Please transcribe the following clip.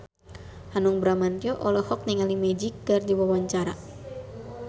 Hanung Bramantyo olohok ningali Magic keur diwawancara